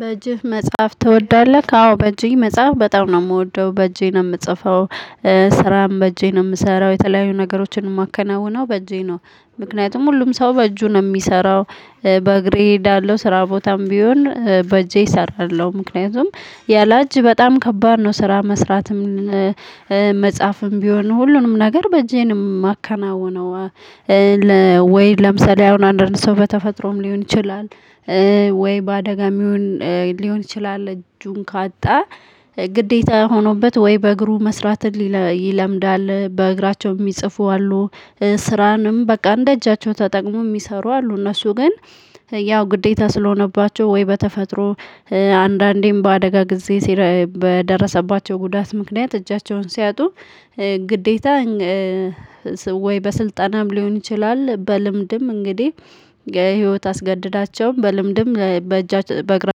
በጅህ መጽሐፍ ተወዳለህ አዎ በጄ መጽሐፍ በጣም ነው እምወደው በእጄ ነው ምጽፈው። ስራም በጄ ነው ምሰራው የተለዩ ነገሮችንም ማከናውነው በጄ ነው። ምክንያትም ሁሉም ሰው በእጁ ነው እሚሰራው። በእግሬ ሄዳለው ስራ ቦታም ቢሆን በጄ ሰራለው ምክንያትም የለእጅ በጣም ከባድ ነው። ስራ መስራትም መጽሃፍም ቢሆን ሁሉንም ነገር በእጄ ነው ማከናውነው። ወይ ለምሳሌ አሁን አንድ አንድ ሰው በተፈጠሮም ሊሆን ይችላል ወይ በአደጋ ሊሆን ይችላል እጁን ካጣ ግዴታ ሆኖበት ወይ በእግሩ መስራት ይለምዳል በእግራቸው እሚይጽፉ አሉ። ስራንም በቃ እንደ እጃቸው ተጠቅመው እሚይሰሩ አሉ። እነሱ ግን ያው ግዴታ ስለሆነባቸው ወይ በተፈጠሮ አንዳንዴም በአደጋ ጊዜ በደረሰባቸው ጉዳት ምክንያት እጃቸውን ሲያጡ ግዴታ። ወይ በስልጠንም ሊሆን ይችላል በልምድም እንግዲህ ህይወት አስገድዳቸው በልምድም በእግራቸው